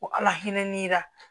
Ko alahinɛ ni